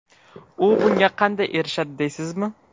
U bunga qanday erishadi, deysizmi?